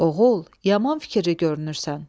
Oğul, yaman fikirli görünürsən.